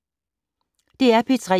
DR P3